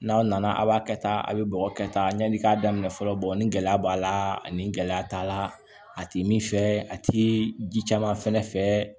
N'aw nana a b'a kɛ tan a bɛ bɔgɔ kɛ tan yani i k'a daminɛ fɔlɔ ni gɛlɛya b'a la ani gɛlɛya b'a la a ti min fɛ a ti ji caman fɛnɛ fɛ